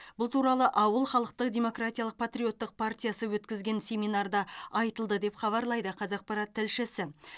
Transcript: бұл туралы ауыл халықтық демократиялық патриоттық партиясы өткізген семинарда айтылды деп хабарлайды қазақпарат тілшісі